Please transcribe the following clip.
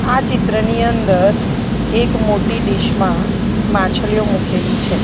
આ ચિત્રની અંદર એક મોટી ડીશ માં માછલીઓ મુકેલી છે.